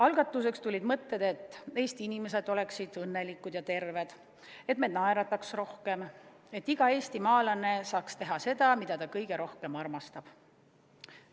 Algatuseks tulid sellised mõtted: et Eesti inimesed oleksid õnnelikud ja terved, et me naerataksime rohkem ja et iga eestimaalane saaks teha seda, mida ta kõige rohkem armastab.